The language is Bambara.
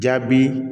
Jaabi